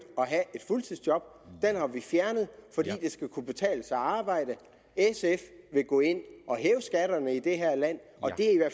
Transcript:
at have fuldtidsjob den har vi fjernet fordi det skal kunne betale sig at arbejde sf vil gå ind og hæve skatterne i det her land og det er i hvert